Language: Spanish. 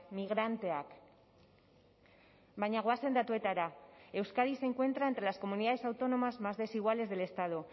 migranteak baina goazen datuetara euskadi se encuentra entre las comunidades autónomas más desiguales del estado